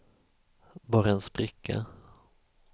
bara en spricka